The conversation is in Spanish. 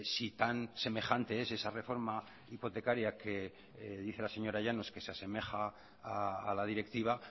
si tan semejante es esa reforma hipotecaria que dice la señora llanos que se asemeja a la directiva